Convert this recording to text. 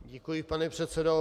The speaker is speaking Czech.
Děkuji, pane předsedo.